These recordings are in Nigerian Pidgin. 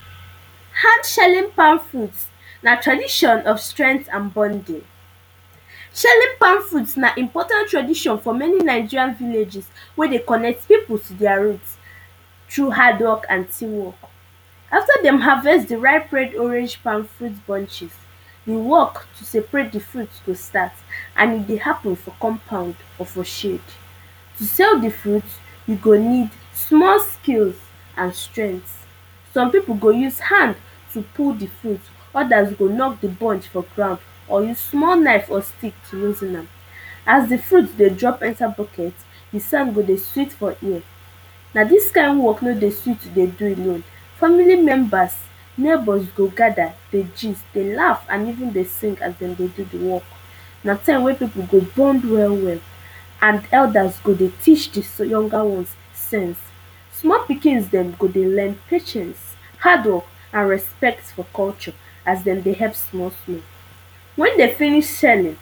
Hand shelling palm fruit na tradition of strength and bonding Shelling palm fruit na important tradition for many Nigerian villages wey dey connect people to their roots through hard work and team work. After dem harvest di ripe red orange palm fruit bunches, di work to separate di fruit dey start, and e dey happen for compound or for shade. To shell di fruit, you go need small skill and strength. Some people go use hand to pull di odas go knock di bunch for ground or use small knife or stick to use do am. As di fruit dey jump enter bucket, the sound go dey sweet for ear, na dis kind work wey no dey sweet to do alone. Family members, neighbours go gather, dey gist dey laugh and even dey sing as dem dey do di work, na time wen people dey bond well well, and elders go dey teach di younger ones sense. Small pikins dem go dey learn patience, hard work and respect for culture, as dem dey help small small. Wen dem finish shelling,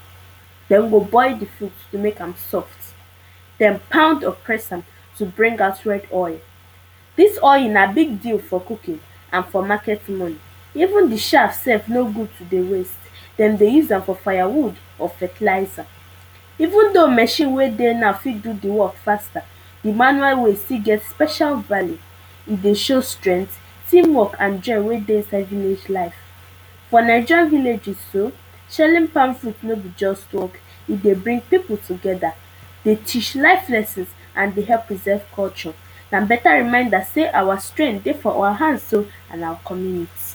dem go boil di fruit to make am soft, den pound or press am to bring out red oil. Dis oil na big deal for cooking and for market women. Even di chaff sef no good to dey waste dem dey use am for fire wood or fertilizer. Even though machine wey dey now fit do di work faster, di manual way still get special value, e dey show strength, team work and joy wey dey inside village life. For Naija villages too, shelling palm fruit no be just work, e dey bring people together, dey teach life lessons and preserve culture and better remainder sey our strength dey for our hands oh, and our community.